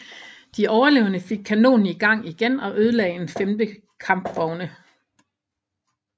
De overlevende fik kanonen i gang igen og ødelagde en femte kampvogne